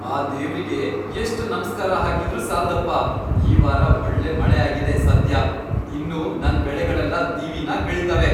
ಆ ದೇವ್ರಿಗೆ ಎಷ್ಟ್ ನಮ್ಸ್ಕಾರ ಹಾಕಿದ್ರೂ ಸಾಲ್ದಪ್ಪ! ಈ ವಾರ ಒಳ್ಳೆ ಮಳೆ ಆಗಿದೆ ಸದ್ಯ. ಇನ್ನು ನನ್ ಬೆಳೆಗಳೆಲ್ಲ ದಿವಿನಾಗ್ ಬೆಳೀತವೆ.